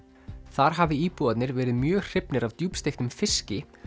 þar hafi íbúarnir verið mjög hrifnir af djúpsteiktum fiski